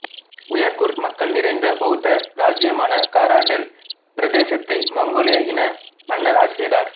Uyghur மக்கள் நிறைந்த பௌத்த இராச்சியமான காரா டெல் பிரதேசத்தை மங்கோலிய இன மன்னர் ஆட்சி செய்தார்